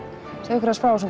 okkur aðeins frá þessum